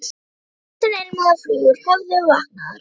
Hrossin ilmuðu og flugur höfðu vaknað.